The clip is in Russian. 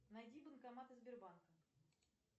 найди банкоматы сбербанка